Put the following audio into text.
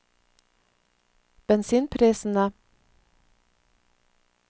bensinprisene